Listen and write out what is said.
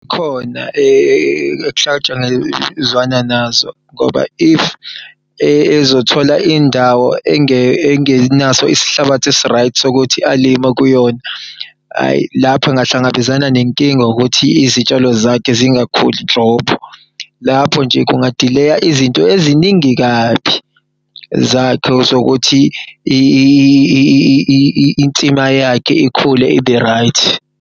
Khona kuhlatshangezwana nazo ngoba if ezothola indawo engenaso isihlabathi esi-right sokuthi alime kuyona, hhayi lapho angahlangabezana nenkinga ngokuthi izitshalo zakhe zingakhuli nhlobo. Lapho nje kungadileya izinto eziningi kabi zakhe zokuthi insima yakhe ikhule ibe-right.